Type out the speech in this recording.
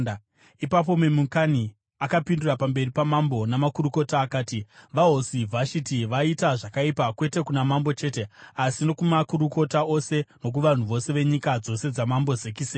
Ipapo Memukani akapindura pamberi pamambo namakurukota akati, “VaHosi Vhashiti vaita zvakaipa, kwete kuna mambo chete asi nokumakurukota ose nokuvanhu vose venyika dzose dzamambo Zekisesi.